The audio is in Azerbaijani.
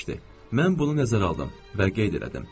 Mən bunu nəzərə aldım və qeyd elədim.